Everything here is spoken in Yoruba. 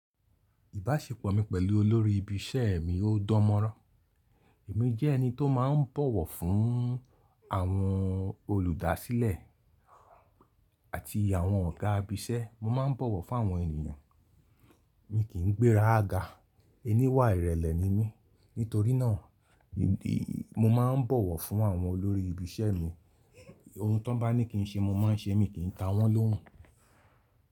Ìbáṣepọ̀ mi pẹ̀lú olórí ibi iṣẹ́ mi ò dán mọ́rán. Èmi jẹ́ ẹni tó má ń bọ̀wọ̀ fún àwọn olùdásílẹ̀ àti àwọn ọ̀gá ibi iṣẹ́. Mo má ń bọ̀wọ̀ fún àwọn ènìyàn. Mi kì í gbéra ga. Eni wà ìrẹ̀lẹ̀ ni mí. Nítorínà mo má ń bọ̀wọ̀ fún àwọn olórí ibi iṣẹ́ mi. Ohun tó n bá ní kì n ṣe ni mo má ń ṣe é, mi kì n ta wọ́n lóhùn.